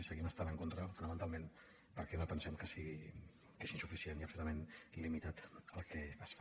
hi seguim estant en contra fonamentalment perquè pensem que és insuficient lleugerament limitat el que es fa